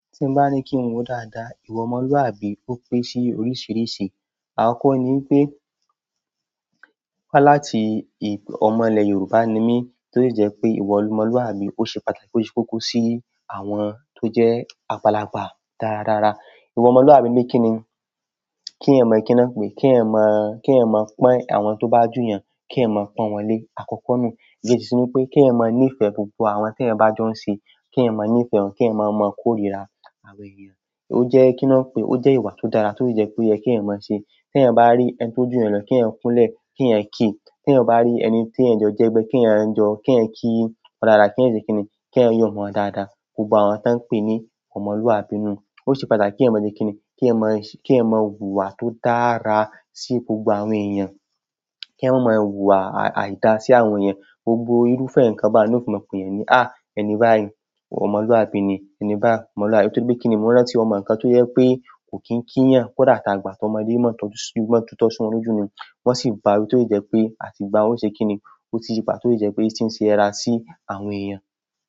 Tí n bá ní kí n wo dáadáa, ìwà ọmọlúwàbí ó pín ṣí oríṣiríṣi. Àkọ́kọ́ ni wi pé, wá láti ọmọ ìlẹ̀ Yorùbá ni mí, tó dẹ̀ jẹ́ pé ìwà ọmọlúwàbí ó ṣe pàtàkì, ó ṣe kókó sí àwọn tó jẹ́ àgbàlagbà dáradára. Ìwà ọmọlúwàbí le kíni? Kí iyán mọ̀ kí i náà pé, kí iyan mọ̀, kí iyán mọ̀ pọ́n àwọn tó bá ju iyàn, kí iyán mọ̀ pọ́n wọn lé. Àkọ́kọ́ nu, ìgbésì ni pé kí iyan mọ̀ nífẹ̀ẹ́ gbogbo àwọn tí ẹ bá jọ́ ń ṣe, kí iyán mọ̀ nífẹ̀ẹ́ wọn, kí iyán mọ̀ mọ́ kó ríra àwọn èèyàn. Ó jẹ́ kí i náà pé, ó jẹ́ ìwà tó dára tó yẹ tó yẹ kí iyan mọ̀ ṣe. Te èyán bá rí ẹni tó jù iyán lọ kí èyán kunlẹ ki èyán ki tí èyan ba rí ẹni tí èyán jo jẹgbẹ́, kí èyán jọ, kí èyán kí ó dára, kí èyán ṣe kíni, kí èyán yọ̀ mọ́ dáadáa. Gbogbo àwọn tan ń pè ní ọmọlúwàbí nu. Ó ṣe pàtàkì kí èyàn mọ̀ le kíni, kí èyán mọ̀, kí èyàn mọ̀ wùwà tó dára sí gbogbo àwọn èèyàn. Kí èyán mọ mọ̀ hùwà àìda sí àwọn èèyàn. Gbogbo irúfẹ́ ǹkan bá ni ó fi mọ̀ pé ni, "à, ẹni báyìí, ọmọlúwàbí ni, ẹni báyìí ọmọlúwàbí." Nítorí pé kíni mọ́ rántí, ọmọ ǹkan tó jẹ́ pé kò kín kíyàn, kò dà tá àgbà, tọ ọmọdé o mọ̀ tọ́jú, mọ̀ tútọ̀ sí wọn lójú ni. Wọ́n sì bá wí tó jẹ́ pé, àti gbáun o ṣe kíni, ó ti yi padà tó jẹ́ pé tí ń ṣe dada sí àwọn èèyàn.